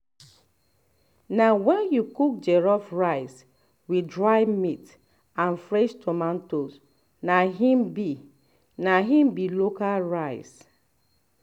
na wen you cook jollof rice with dry meat and fresh tomatoes na im be na im be local rice